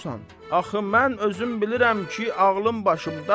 Axı mən özüm bilirəm ki, ağlım başımdadır.